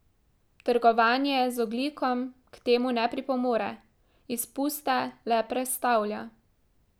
Trgovanje z ogljikom k temu ne pripomore, izpuste le prestavlja.